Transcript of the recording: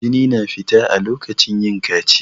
Jini na fita a lokacin yin kaciya.